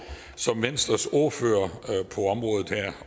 som venstres ordfører